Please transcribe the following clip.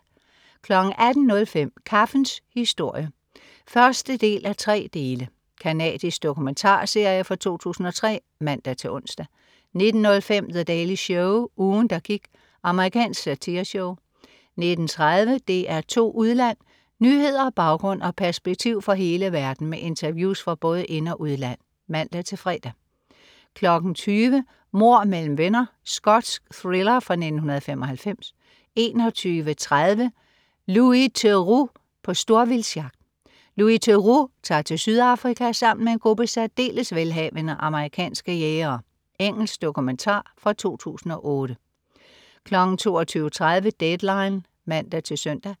18.05 Kaffens historie 1:3. Canadisk dokumentarserie fra 2003 (man-ons) 19.05 The Daily Show. Ugen der gik. Amerikansk satireshow 19.30 DR2 Udland. Nyheder, baggrund og perspektiv fra hele verden med interviews fra både ind- og udland (man-fre) 20.00 Mord mellem venner. Skotsk thriller fra 1995 21.30 Louis Theroux på storvildtsjagt. Louis Theroux tager til Sydafrika sammen med en gruppe særdeles velhavende amerikanske jægere. Engelsk dokumentar fra 2008 22.30 Deadline (man-søn)